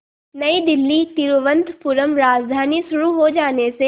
नई दिल्ली तिरुवनंतपुरम राजधानी शुरू हो जाने से